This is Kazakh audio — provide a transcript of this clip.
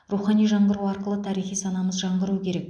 рухани жаңғыру арқылы тарихи санамыз жаңғыруы керек